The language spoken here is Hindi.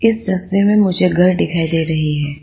इस तस्वीर में मुझे घर दिखाई दे रही है।